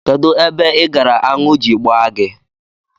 Kedụ ebe ị gara aṅụ ji gbaa gị?